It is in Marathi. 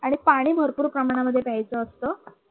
आणि पाणी भरपूर प्रमाणामध्ये प्यायचं असत.